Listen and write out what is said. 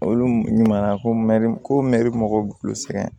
Olu ɲuman na ko mɛri ko mɛ mɔgɔw b'u sɛgɛn